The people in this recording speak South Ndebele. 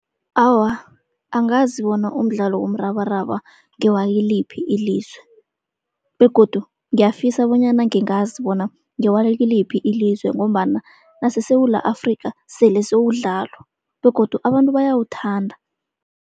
Awa, angazi bona umdlalo womrabaraba ngewakiliphi ilizwe. Begodu ngiyafisa bonyana ngingazi bona ngewakiliphi ilizwe, ngombana naseSewula Afrikha sele sewudlalwa begodu abantu bayawuthanda.